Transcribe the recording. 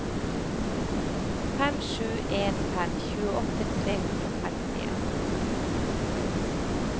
fem sju en fem tjueåtte tre hundre og femtien